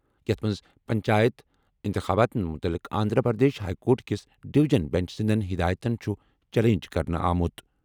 یَتھ منٛز پنچایت اِنتِخاباتن مُتعلِق آنٛدھرا پرٛدیش ہایی کورٹ کِس ڈِوِجن بیٚنٛچ سٕنٛدیٚن ہِدایتن چُھ چیلنج کرنہٕ آمُت۔